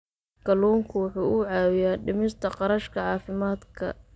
Kalluunku waxa uu caawiyaa dhimista kharashka caafimaadka.